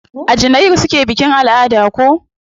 A janairu suke bikin alada ko?